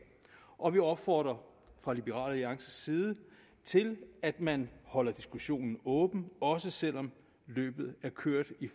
og vi opfordrer fra liberal alliances side til at man holder diskussionen åben også selv om løbet er kørt i